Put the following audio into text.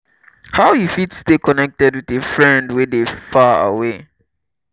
how you fit stay connected with a friend wey dey far away?